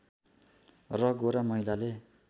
र गोरा महिलाले